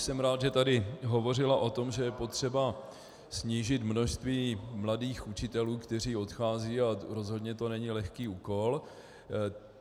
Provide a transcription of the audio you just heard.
Jsem rád, že tady hovořila o tom, že je potřeba snížit množství mladých učitelů, kteří odcházejí, a rozhodně to není lehký úkol.